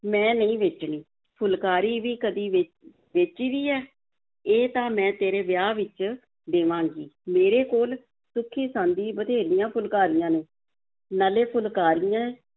ਮੈਂ ਨਹੀਂ ਵੇਚਣੀ, ਫੁਲਕਾਰੀ ਵੀ ਕਦੀ ਵੇ~ ਵੇਚੀ ਦੀ ਹੈ, ਇਹ ਤਾਂ ਮੈਂ ਤੇਰੇ ਵਿਆਹ ਵਿੱਚ ਦੇਵਾਂਗੀ, ਮੇਰੇ ਕੋਲ ਸੁੱਖੀ-ਸਾਂਦੀਂ ਬਥੇਰੀਆਂ ਫੁਲਕਾਰੀਆਂ ਨੇ, ਨਾਲੇ ਫੁਲਕਾਰੀਆਂ